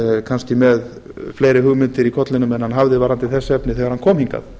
kannski með fleiri hugmyndir í kollinum varðandi þessi efni en hann hafði þegar hann kom hingað